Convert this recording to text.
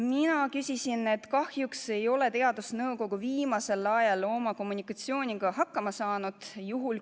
Mina märkisin, et kahjuks ei ole teadusnõukoda viimasel ajal oma kommunikatsiooniga hakkama saanud.